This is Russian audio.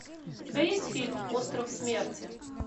у тебя есть фильм остров смерти